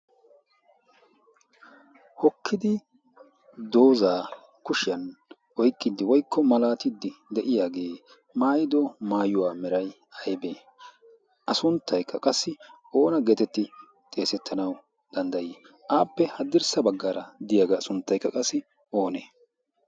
hokkidi doozaa kushiyan oiqqiddi woikko malaatiddi de7iyaagee maayido maayuwaa merai aibee? a sunttaikka qassi oona geetetti xeesettanau danddayii? aappe haddirssa baggaara diyaagaa sunttaikka qassi oonee?